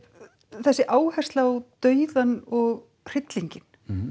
þessi áhersla á dauðann og hryllinginn